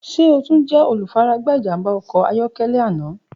Ṣe o tun jẹ olufaragba ijamba ọkọ ayọkẹlẹ ana?